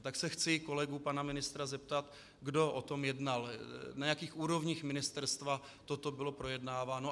A tak se chci kolegů pana ministra zeptat, kdo o tom jednal, na jakých úrovních ministerstva toto bylo projednáváno.